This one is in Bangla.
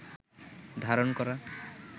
ধারণ করা